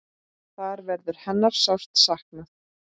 Þar verður hennar sárt saknað.